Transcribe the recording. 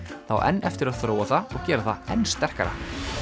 það á enn eftir að þróa það og gera það enn sterkara